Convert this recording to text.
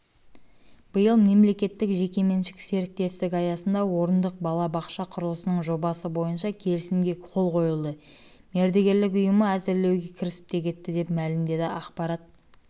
биыл мемлекеттік-жекеменшік серіктестік аясында орындық балабақша құрылысының жобасы бойынша келісімге қол қойылды мердігерлік ұйымы әзірлеуге кірісіп те кетті деп мәлімдеді ақпарат